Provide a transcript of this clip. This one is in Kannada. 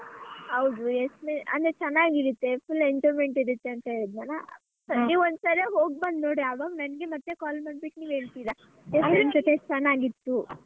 ಹೌದು exp~ ಅಂದ್ರೆ ಚೆನ್ನಾಗಿರುತ್ತೆ full enjoyment ಇರತ್ತೆ ಅಂತ ಹೇಳಿದ್ನಲ್ಲ ನೀವ್ ಒಂದ್ಸಲ ಹೋಗ್ಬಂದ್ ನೋಡಿ ಆವಾಗ ನಂಗೆ ಮತ್ತೆ call ಮಾಡ್ಬೇಕು ನೀವ್ ಮಾಡಿ ಹೇಳ್ತಿರ ಜೊತೆ ಚೆನ್ನಾಗಿತ್ತು.